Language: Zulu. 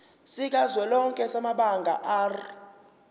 sikazwelonke samabanga r